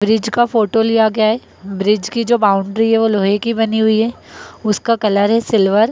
Bridge का photo लिया गया है। ब्रिज की जो बाउंड्री है वो लोहे की बनी हुई है उसका कलर है सिल्वर ।